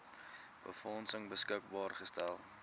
befondsing beskikbaar gestel